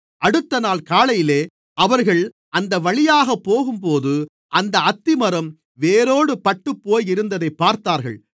அடுத்தநாள் காலையிலே அவர்கள் அந்தவழியாக போகும்போது அந்த அத்திமரம் வேரோடு பட்டுப்போயிருந்ததைப் பார்த்தார்கள்